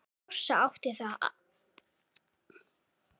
Sossa átti allt þetta.